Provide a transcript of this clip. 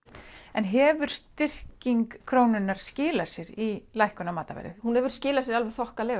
en hefur styrking krónunnar skilað sér í lækkun á matarverði hún hefur skilað sér alveg þokkalega